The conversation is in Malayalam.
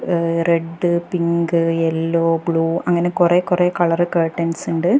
ഏഹ് റെഡ് പിങ്ക് യെല്ലോ ബ്ലൂ അങ്ങനെ കുറെ കുറെ കളർ കർട്ടൻസ് ഇണ്ട്.